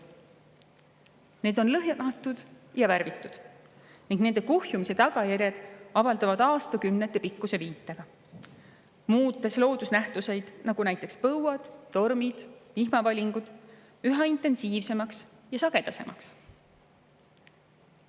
Need on lõhnatud ja värvitud ning nende kuhjumise tagajärjed avalduvad aastakümnete pikkuse viitega, muutes loodusnähtused, nagu põuad, tormid ja vihmavalingud, üha intensiivsemaks ja sagedasemaks.